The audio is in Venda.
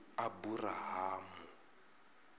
aburahamu